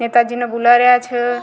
नेताजी ने बुला रिया छ।